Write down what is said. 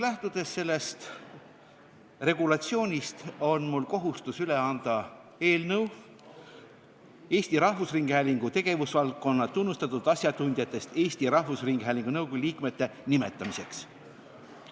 Lähtudes sellest regulatsioonist, on mul kohustus üle anda eelnõu Eesti Rahvusringhäälingu tegevusvaldkonna tunnustatud asjatundjatest Eesti Rahvusringhäälingu nõukogu liikmete nimetamise kohta.